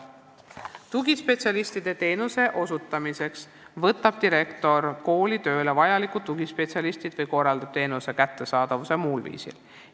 Tugispetsialistide teenuse osutamiseks võtab direktor kooli tööle tugispetsialisti või korraldab teenuse kättesaadavuse muul viisil.